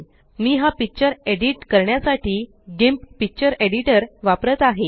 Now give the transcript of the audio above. मी हा picture edit करण्यासाठी GIMP picture editor वापरत आहे